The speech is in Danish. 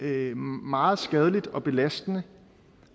er meget skadeligt og belastende